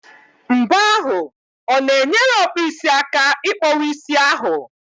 Mbọ ahụ o na-enyere ọkpụisi aka ị kpọwa isi ahụ?